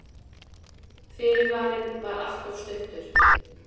Fyrirvarinn var alltof stuttur.